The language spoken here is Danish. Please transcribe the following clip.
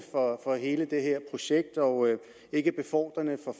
for hele det her projekt og ikke befordrende